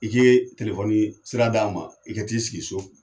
I k'i sira d'an ma, i ka t'i sigi so.